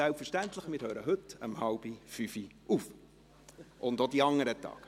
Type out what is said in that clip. Selbstverständlich hören wir heute um 16.30 Uhr auf und auch an den anderen Tagen.